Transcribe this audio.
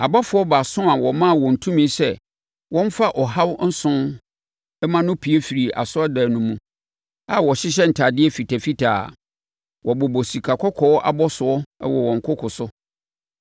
Abɔfoɔ baason a wɔmaa wɔn tumi sɛ wɔmfa ɔhaw nson mmra no pue firii asɔredan no mu, a wɔhyehyɛ ntadeɛ fitafitaa a wɔbobɔ sikakɔkɔɔ abɔsoɔ wɔ wɔn koko so.